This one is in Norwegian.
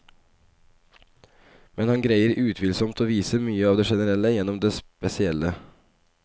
Men han greier utvilsomt å vise mye av det generelle gjennom det spesielle.